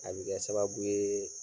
A bɛ kɛ sababu ye faamuya